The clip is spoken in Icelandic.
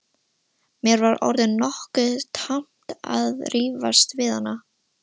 Mér var orðið nokkuð tamt að rífast við hann.